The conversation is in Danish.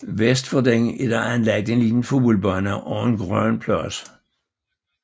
Vest for den er der anlagt en lille fodboldbane og en grøn plads